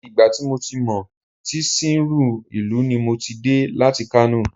Àti ìgbà tí mo ti sìnrú ìlú ní mo ti dé láti Kano